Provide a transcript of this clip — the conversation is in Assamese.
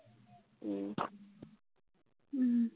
ও ও